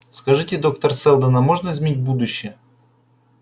скажите доктор сэлдон а можно изменить будущее